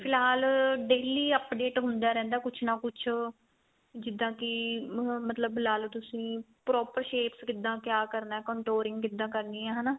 ਫਿਲਹਾਲ daily update ਹੁੰਦਾ ਰਹਿੰਦਾ ਕੁੱਝ ਨਾ ਕੁੱਝ ਜਿੱਦਾਂ ਕੀ ਮਤਲਬ ਲਾਲੋ ਤੁਸੀਂ proper shape ਕਿੱਦਾਂ ਕਿਆ ਕਰਨਾ controlling ਕਿੱਦਾਂ ਕਰਨੀ ਏ ਹਨਾ